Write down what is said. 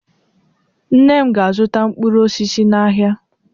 Nne m ga-azụta mkpụrụ osisi n'ahịa.